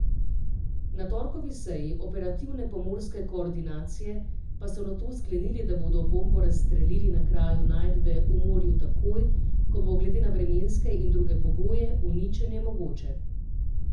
Na torkovi seji operativne pomorske koordinacije pa so nato sklenili, da bodo bombo razstrelili na kraju najdbe v morju takoj, ko bo glede na vremenske in druge pogoje uničenje mogoče.